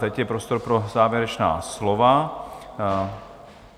Teď je prostor pro závěrečná slova.